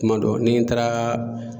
Kuma dɔ ni n taara